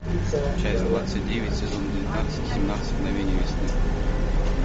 часть двадцать девять сезон девятнадцать семнадцать мгновений весны